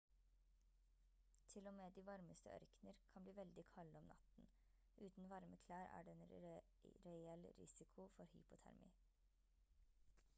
til og med de varmeste ørkener kan bli veldig kalde om natten uten varme klær er det en reell risiko for hypotermi